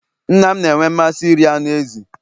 nna m na-enwe mmasị iri anụ ezi